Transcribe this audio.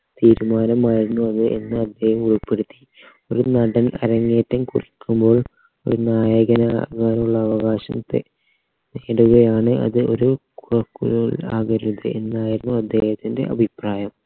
തീരുമാനമായിരുന്നു അത് എന്ന് അദ്ദേഹം ഉൾപ്പെടുത്തി ഒരു നടൻ അരങ്ങേറ്റം കുറിക്കുമ്പോൾ ഒരു നായകനാകാനുള്ള അവകാശത്തെ നേടുകയാണ് അത് ഒരു കോ കൂ ആകരുതേ എന്നായിരുന്നു അദ്ദേഹത്തിൻറെ അഭിപ്രായം